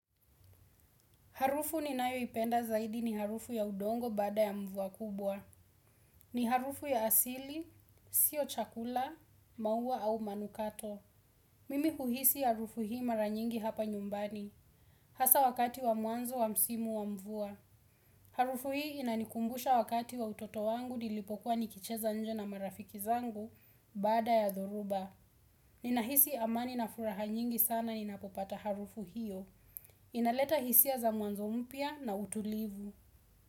Harufu ni nayo ipenda zaidi ni harufu ya udongo baada ya mvua kubwa. Ni harufu ya asili, sio chakula, maua au manukato. Mimi huhisi harufu hii maranyingi hapa nyumbani. Hasa wakati wa mwanzo wa msimu wa mvua. Harufu hii inanikumbusha wakati wa utoto wangu nilipokuwa nikicheza nje na marafiki zangu baada ya dhoruba. Ninahisi amani na furaha nyingi sana ninapopata harufu hiyo. Inaleta hisia za mwanzo mpya na utulivu.